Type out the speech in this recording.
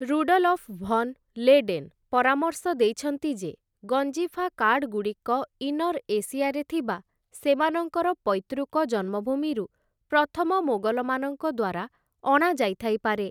Rudolf von Leyden ପରାମର୍ଶ ଦେଇଛନ୍ତି ଯେ, ଗଞ୍ଜିଫା କାର୍ଡ଼ଗୁଡ଼ିକ ଇନର୍ ଏସିଆରେ ଥିବା ସେମାନଙ୍କର ପୈତୃକ ଜନ୍ମଭୂମିରୁ ପ୍ରଥମ ମୋଗଲମାନଙ୍କ ଦ୍ୱାରା ଅଣାଯାଇଥାଇପାରେ ।